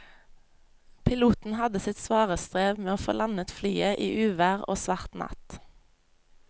Piloten hadde sitt svare strev med å få landet flyet i uvær og svart natt.